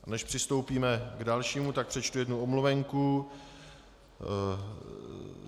A než přistoupíme k dalšímu, tak přečtu jednu omluvenku.